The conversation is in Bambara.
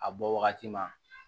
A bɔ wagati ma